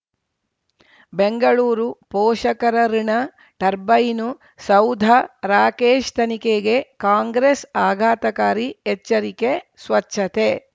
ಬೆಂಗಳೂರು ಪೋಷಕರಋಣ ಟರ್ಬೈನು ಸೌಧ ರಾಕೇಶ್ ತನಿಖೆಗೆ ಕಾಂಗ್ರೆಸ್ ಆಘಾತಕಾರಿ ಎಚ್ಚರಿಕೆ ಸ್ವಚ್ಛತೆ